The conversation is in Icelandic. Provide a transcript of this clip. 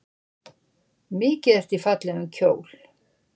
Mikið ertu í fallegum kjól.